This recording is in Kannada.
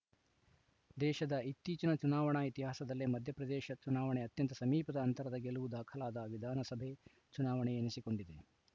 ದೇಶದ ಇತ್ತೀಚಿನ ಚುನಾವಣಾ ಇತಿಹಾಸದಲ್ಲೇ ಮಧ್ಯ ಪ್ರದೇಶ ಚುನಾವಣೆ ಅತ್ಯಂತ ಸಮೀಪದ ಅಂತರದ ಗೆಲುವು ದಾಖಲಾದ ವಿಧಾನಸಭೆ ಚುನಾವಣೆ ಎನಿಸಿಕೊಂಡಿದೆ